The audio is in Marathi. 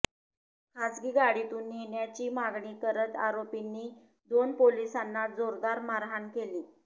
खासगी गाडीतून नेण्याची मागणी करत आरोपींनी दोन पोलिसांनाच जोरदार मारहाण केली